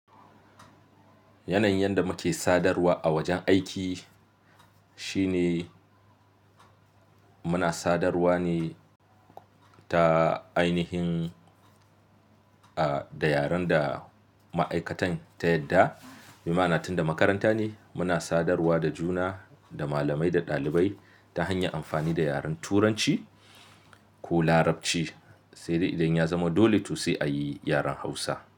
Yanayin yadda muke sadarwa a wajen aiki shine muna sadarwa ne ta ainihin, ah da yaren da ma'aikatan ta yadda. Bi ma'ana tunda makaranta ne muna sadarwa da juna da malamai da ɗalibai ta hanyar amfani da yaren Turanci ko Larabci. Sai dai idan ya zama dole to sai a yi yaren Hausa.